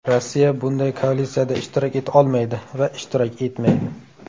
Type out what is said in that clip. Rossiya bunday koalitsiyada ishtirok eta olmaydi va ishtirok etmaydi.